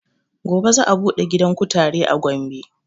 Gobe za a buɗe gidan kutare a gombe